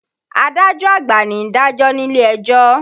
Adájọ́ àgbà ni ń dàjọ́ nílé ẹjọ́